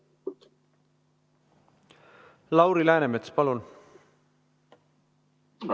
Lauri Läänemets, palun!